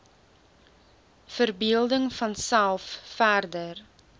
verbeelding vanself verder